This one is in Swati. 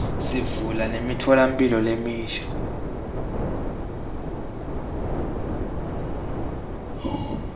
sivula nemitfolamphilo lemisha